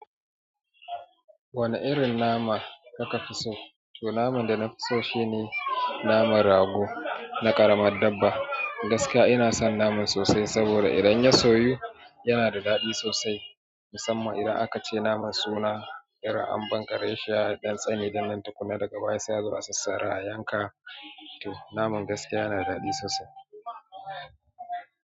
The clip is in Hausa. Wane irin nama kaka fi so? To naman da na fi so shine, naman rago na ƙaramar dabba. Gaskiyan ina son naman sosai, saboda idan ya soyu yanada dadi sosai musamman idan aka ce naman suna irin ambankare shi, ya ɗan tsane din nan tukunna daga baya sai azo a sassara a yanka. To naman gaskiya yana da daɗi sosai.